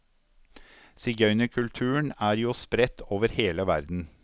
Sigøynerkulturen er jo spredt over hele verden.